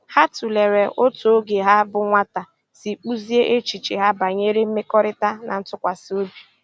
Ha tụ̀lèrè otú ógè ha bụ́ nwátà sì kpụ́ziè èchìchè ha bànyèrè mmèkọ̀rị̀ta na ntụ́kwàsị́ òbì.